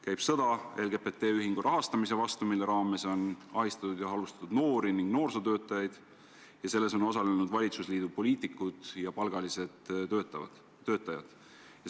Käib sõda LGBT ühingu rahastamise vastu, mille raames on ahistatud ja halvustatud noori ja noorsootöötajaid, ning selles on osalenud valitsusliidu poliitikud ja palgalised töötajad.